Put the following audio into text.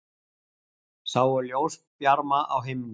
Sáu ljósbjarma á himni